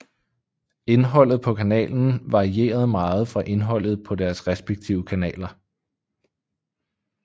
Indholdet på kanalen varieret meget fra indholdet på deres respektive kanaler